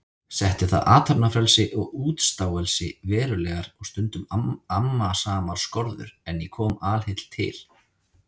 Setti það athafnafrelsi og útstáelsi verulegar og stundum amasamar skorður, en ég kom alheill til